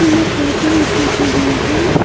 ये कर्टनस लगे हुए हैं।